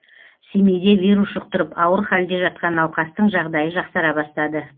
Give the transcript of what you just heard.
семейде вирус жұқтырып ауыр халде жатқан науқастың жағдайы жақсара бастады